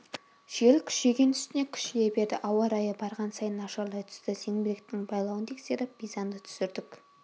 жел күшейген үстіне күшейе берді ауа райы барған сайын нашарлай түсті зеңбіректің байлауын тексеріп бизанды түсірдік